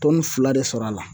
Tɔni fila de sɔrɔ a la